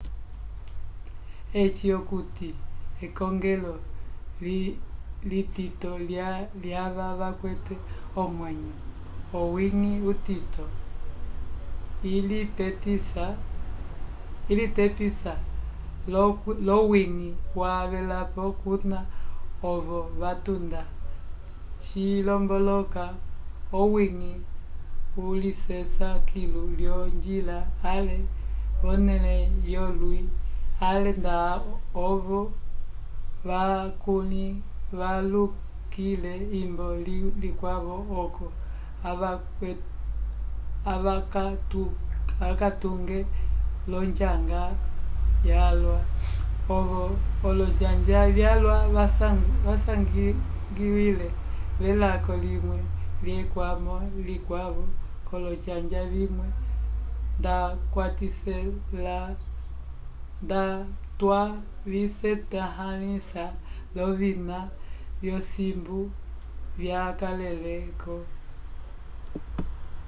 eci okuti ekongelo litito lyava vakwete omwenyo owiñgi utito ilitepisa l’owiñgi wavelapo kuna ovo vatunda cilomboloka owiñgi ulisesa kilu lyonjila ale v’onẽle yolwi ale nda ovo valukile kimbo likwavo oco avakatyuke l’onjanga yalwa ovo olonjanja vyalwa vasangiwile v’ekalo limwe lyekwamo likwavo k’olonjanja vimwe ndatwavisetãhalisa l’ovina vyosimbu vyakalele-ko